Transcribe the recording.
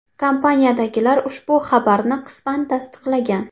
Kompaniyadagilar ushbu xabaarni qisman tasdiqlagan.